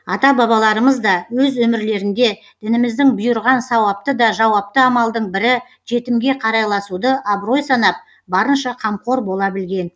ата бабаларымыз да өз өмірлерінде дініміздің бұйырған сауапты да жауапты амалдың бірі жетімге қарайласуды абырой санап барынша қамқор бола білген